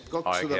Aeg, hea kolleeg!